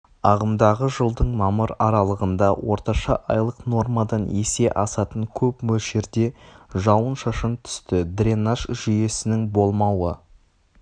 ағымдағы жылдың мамыр аралығында орташа айлық нормадан есе асатын көп мөлшерде жауын-шашын түсті дренаж жүйесінің болмауы